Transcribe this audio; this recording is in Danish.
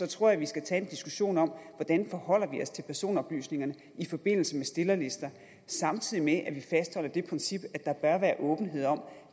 tror jeg vi skal tage en diskussion om hvordan vi forholder os til personoplysninger i forbindelse med stillerlister samtidig med at vi fastholder det princip at der bør være åbenhed om